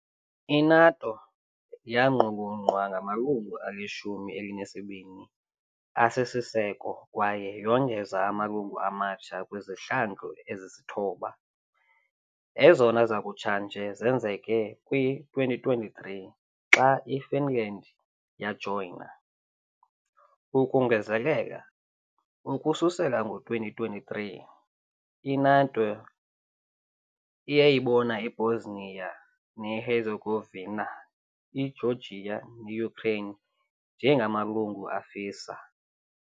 I-NATO yaqulunqwa ngamalungu alishumi elinesibini asisiseko kwaye yongeze amalungu amatsha kwizihlandlo ezisithoba, ezona zakutshanje zenzeke kwi-2023 xa iFinland yajoyina . Ukongezelela, ukususela ngo-2023, i-NATO iyayibona iBosnia neHerzegovina, iGeorgia ne-Ukraine njengamalungu afisa.